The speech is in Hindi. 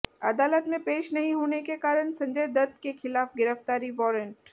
अदालत में पेश नहीं होने के कारण संजय दत्त के खिलाफ गिरफ्तारी वारंट